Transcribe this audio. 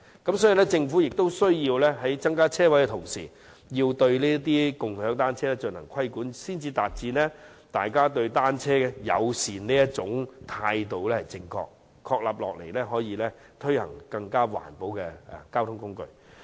因此，政府有需要在增加泊車位的同時，也要規管"共享單車"，才能確立大家對單車友善的正確態度，以推廣更環保的交通工具。